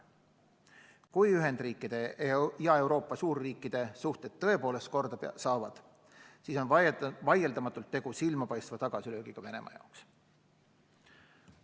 Kui Ühendriikide ja Euroopa suurriikide suhted tõepoolest korda saavad, siis on vaieldamatult tegu silmapaistva tagasilöögiga Venemaa jaoks.